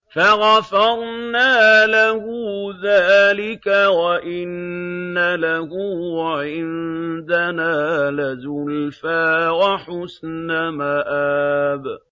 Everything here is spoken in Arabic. فَغَفَرْنَا لَهُ ذَٰلِكَ ۖ وَإِنَّ لَهُ عِندَنَا لَزُلْفَىٰ وَحُسْنَ مَآبٍ